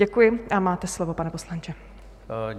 Děkuji a máte slovo, pane poslanče.